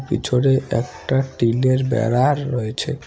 পিছোরে একটা একটা টিনের বেড়ার রয়েছে।